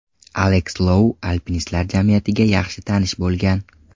Aleks Lou alpinistlar jamiyatiga yaxshi tanish bo‘lgan.